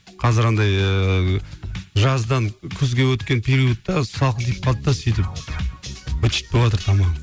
қазір андай ыыы жаздан күзге өткен периодта салқын тиіп қалды да сөйтіп быт шыт болыватыр тамағым